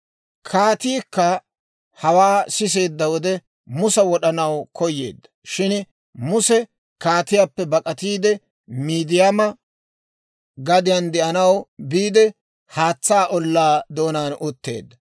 Kaatiikka hawaa siseedda wode, Musa wod'anaw koyyeedda; shin Muse kaatiyaappe bak'atiide, Miidiyaama gadiyaan de'anaw biide haatsaa ollaa doonaan utteedda.